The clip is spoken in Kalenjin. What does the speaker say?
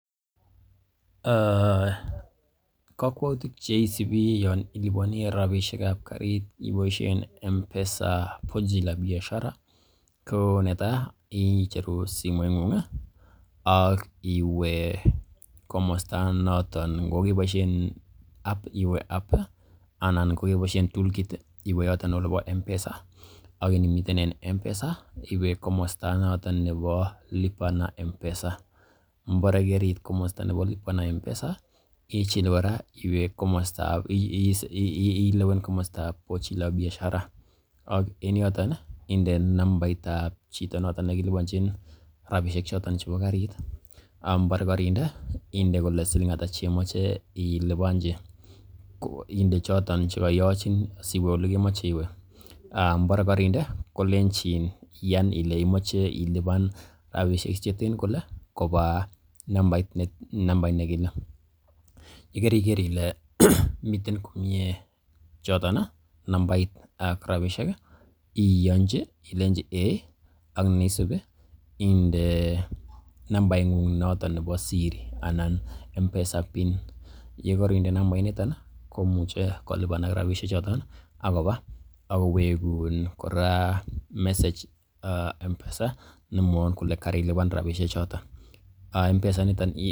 Kokwoutik che isubi yon iliponi rabishek ab karit iboishen M-Pesa pochi la biashara netai icheru simoing'ung ak iwe komosta noton, ngokeboishen app iwe app anan ngo keboishen tool kit iwe yoton olebo M-Pesa ak inimiten M-Pesa iwe komosta noton nebo Lipa na M-Pesa ngobore keriit komosta nebo lipa na M-Pesa ichil kora ilewen komostab pochi la biashara ak en yoton inde nambait ab chito ne kiliponchin rabishek choton chebo karit. Ngobore koinde, ind ekole siling ata ch eimoche iliponji, inde choto che koyochin siwe ole kemoche iwe mbore koinde, kolenchin iyan ile imoche ilipan rabishek che ten kole koba nambait nekile. Ye keriker kole miten komie choton, nambait ak rabishek iyonji ilenchi eiy ak ne isubi inde nambaing'ung noton nebo siri anan M-Pesa PIN ye koinde nambainito, komuche kolipanak rabishek choton ak koba ak kowegun kora message M-Pesa nemwoun kole karilipan rabishek choton.